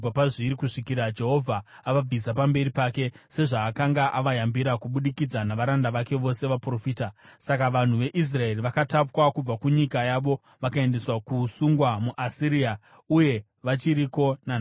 kusvikira Jehovha avabvisa pamberi pake, sezvaakanga avayambira kubudikidza navaranda vake vose vaprofita. Saka vanhu veIsraeri vakatapwa kubva kunyika yavo vakaendeswa kuusungwa muAsiria, uye vachiriko nanhasi.